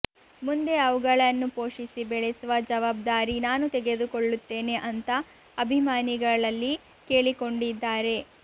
ಮುಂದೆ ಅವುಗಳನ್ನು ಪೋಷಿಸಿ ಬೆಳೆಸುವ ಜವಾಬ್ದಾರಿ ನಾನು ತೆಗೆದುಕೊಳ್ಳುತ್ತೇನೆ ಅಂತಾ ಅಭಿಮಾನಿಗಳಲ್ಲಿ ಕೇಳಿಕೊಂಡಿದ್ದಾರೆ